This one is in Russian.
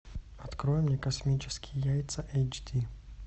открой мне космические яйца эйч ди